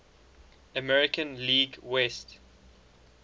american league west